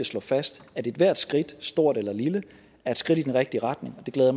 slå fast at ethvert skridt stort eller lille er et skridt i den rigtige retning og det glæder